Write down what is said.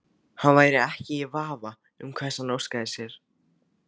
Hann væri ekki í vafa um hvers hann óskaði sér.